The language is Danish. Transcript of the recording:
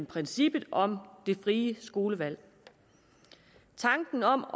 princippet om det frie skolevalg tanken om